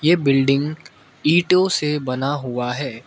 ये बिल्डिंग ईटों से बना हुआ है।